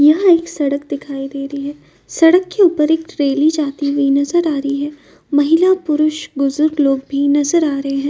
यहाँ एक सड़क दिखाई दे रही है। सड़क के ऊपर एक रैली जाती हुई नजर आ रही है। महिला पुरुष बुजुर्ग लोग भी नजर आ रहे हैं।